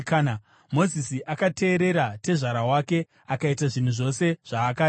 Mozisi akateerera tezvara wake akaita zvinhu zvose zvaakareva.